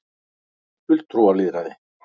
fulltrúalýðræði